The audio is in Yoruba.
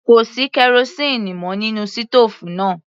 Kò sí kerosíínì mọ́ nínú sítòòfù náà.